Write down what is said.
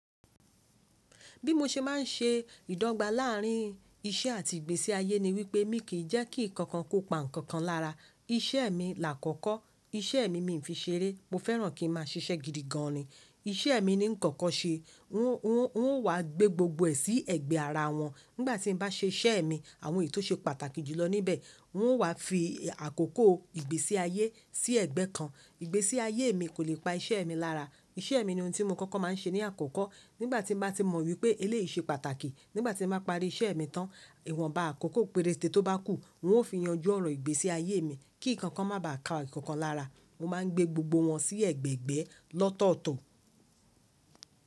Bí mo ṣe má ń ṣe ìdọ́gba láàrín iṣẹ́ àti ìgbésí ayé ni wípé mi kì í jẹ́ kí ǹkankan kó pa nkankan lára. Iṣẹ́ e mi là àkọ́kọ́. Iṣẹ́ e mi, mi fi ń ṣeré. Mo fẹ́ràn kí n máa ṣiṣẹ́ gidi gan an ni. Iṣẹ́ mi ni nkoko ṣe. N ó wá gbé gbogbo ẹ̀ sí ẹ̀gbẹ́ ara wọn. Nígbà tín bá ṣe iṣẹ́ mi, àwọn èyí tó ṣe pàtàkì jùlọ níbẹ̀. N ó wá fi àkókò ìgbésí ayé sí ẹ̀gbẹ́ kan. Ìgbésí ayé mi kò lè pa iṣẹ́ mi lára. Iṣẹ́ mi ni ohun tí mo kọ́kọ́ má n ṣe ní àkọ́kọ́. Nígbà tín bá ti mọ̀ wípé eléyìí ṣe pàtàkì, nígbà tí mo bá parí iṣẹ́ mi tán, ìwọ̀nba àkókò pẹrẹtẹ̀ tó bá kù, n ó fi yanjú ọ̀rọ̀ ìgbésí ayé mi kí nkankan má bàá ka nkankan lára. Mo má n gbé gbogbo wọn sí ẹ̀gbẹ̀egbẹ́ lọ́tọ̀ọ̀tọ̀.